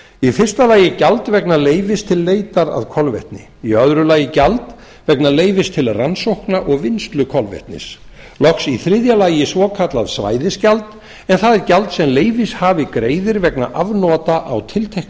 í fyrsta lagi gjald vegna leyfis til leitar að kolvetni í öðru lagi gjald vegna leyfis til rannsókna og vinnslu kolvetnis loks í þriðja lagi svokallað svæðisgjald en það er gjald sem leyfishafi greiðir vegna afnota á tilteknu